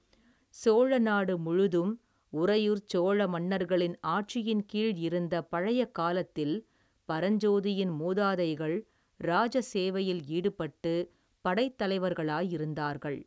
சோழநாடு முழுதும் உறையூர்ச் சோழ மன்னர்களின் ஆட்சியின் கீழ் இருந்த பழைய காலத்தில் பரஞ்சோதியின் மூதாதைகள் இராஜ சேவையில் ஈடுபட்டு படைத் தலைவர்களாயிருந்தார்கள்.